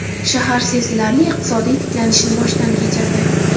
Shahar sezilarli iqtisodiy tiklanishni boshdan kechirdi.